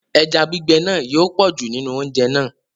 Ẹja gbígbẹ̀ náà yóò pọ̀jù nínú oúnjẹ̀ náà.